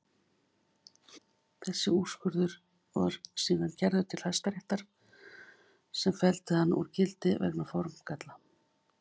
Þessi úrskurður var síðan kærður til Hæstaréttar sem felldi hann úr gildi vegna formgalla.